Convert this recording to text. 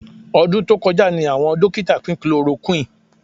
Ọdún tó kọjá ni àwọn dókítà pín chloroquine